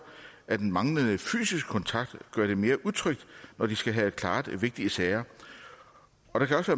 at den manglende fysiske kontakt gør det mere utrygt når de skal have klaret vigtige sager og der kan også